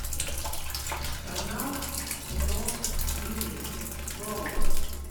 канал про бизнес гоу